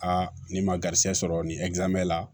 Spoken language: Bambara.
Aa ni ma garisɛgɛ sɔrɔ nin la